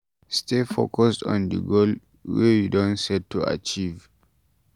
Stay focused on di goal wey you don set to achieve